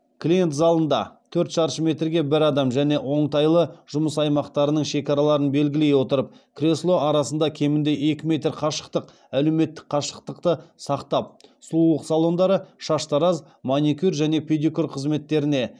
клиент залында төрт шаршы метрге бір адам және оңтайлы жұмыс аймақтарының шекараларын белгілей отырып кресло арасында кемінде екі метр қашықтық әлеуметтік қашықтықты сақтап сұлулық салондары шаштараз маникюр және педикюр қызметтеріне